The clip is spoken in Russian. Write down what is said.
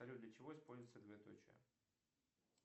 салют для чего используется двоеточие